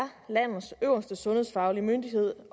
landets øverste sundhedsfaglige myndighed